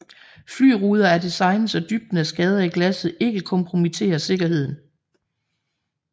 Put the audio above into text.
Fly ruder er designet så dybden af skader i glasset ikke kompromitterer sikkerheden